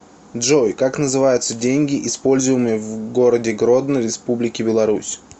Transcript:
джой как называются деньги используемые в городе гродно республики беларусь